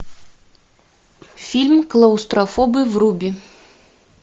фильм клаустрофобы вруби